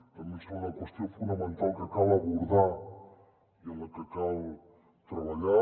també ens sembla una qüestió fonamental que cal abordar i en la que cal treballar